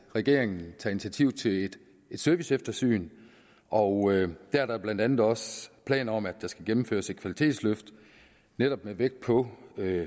regeringen tager initiativ til et serviceeftersyn og der er der blandt andet også planer om at der skal gennemføres et kvalitetsløft netop med vægt på